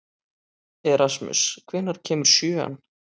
Erasmus, hvenær kemur sjöan?